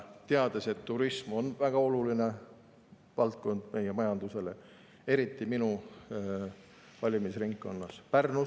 Teame, et turism on väga oluline valdkond meie majandusele, eriti minu valimisringkonnas Pärnus.